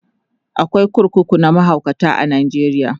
akwai kurkuku na mahaukata a Najeriya